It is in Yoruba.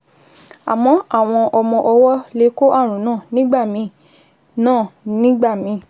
Àmọ́ àwọn ọmọ ọwọ́ lè kó ààrùn náà nígbà míì náà nígbà míì